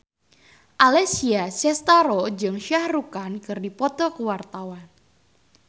Alessia Cestaro jeung Shah Rukh Khan keur dipoto ku wartawan